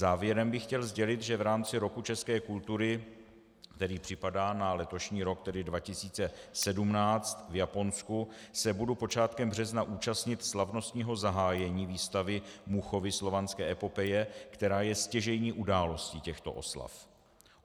Závěrem bych chtěl sdělit, že v rámci Roku české kultury, který připadá na letošní rok, tedy 2017, v Japonsku, se budu počátkem března účastnit slavnostního zahájení výstavy Muchovy Slovanské epopeje, která je stěžejní událostí těchto oslav.